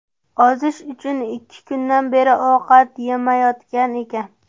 Ozish uchun ikki kundan beri ovqat yemayotgan ekan.